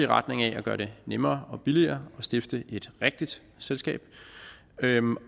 retning af at gøre det nemmere og billigere at stifte et rigtigt selskab